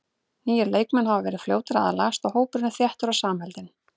Nýir leikmenn hafa verið fljótir að aðlagast og hópurinn er þéttur og samheldinn.